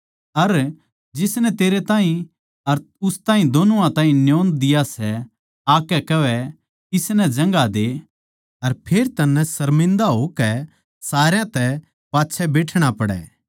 अर जिसनै तेरै ताहीं अर उस ताहीं दोनुआ ताहीं न्योंदा दिया सै आकै कहवै इसनै जगहां दे अर फेर तन्नै सर्मिन्दा होकै सारया तै पाच्छै बैठणा पड़ै